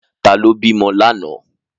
Ta ló bímọ lánàá?